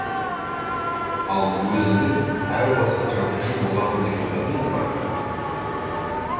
ал өзіңіз әу баста жазушы боламын деп ойладыңыз ба